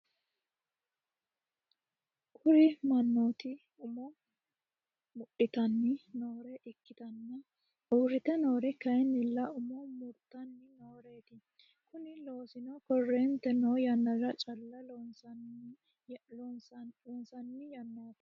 kuri manoti umo mudhitani nore ikitana urite norri kayinila umo muritani noretti. kuni loosino currente no yanara calla loosinani yanatti.